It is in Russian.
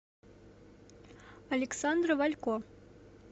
александра валько